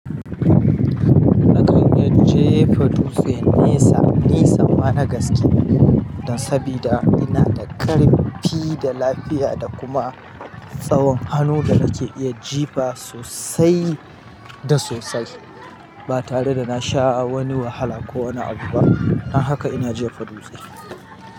Na kan yaje fadufe nesa. Ni sama na gaske. Sabida ina da ƙarfi da lafiya da kuma tsawon hannu da nake iya jefa sosai da sosai ba tare da na sha wani wahala ko wani abu ba. Don haka ina jefa dutse.